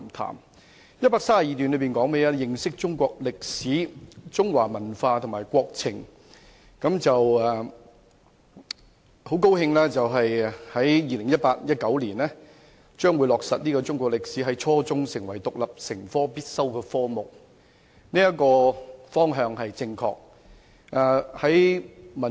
第132段的標題是"認識中國歷史、中華文化及國情"，很高興在 2018-2019 年度中國歷史將落實在初中成為獨立必修科，這方向是正確的。